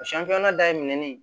O dayɛlɛlen